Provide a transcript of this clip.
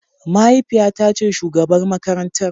Mahaifiyata ce shugabar makarantar.